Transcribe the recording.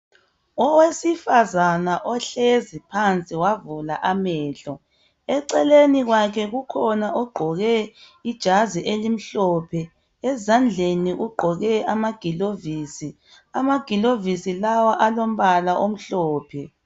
Owesifazana ohlezi phansi wavula amehlo .Eceleni kwakhe kukhona ogqoke ijazi elimhlophe Ezandleni ugqoke amagilovisi ,amagilovisi lawa alombala omhlophe.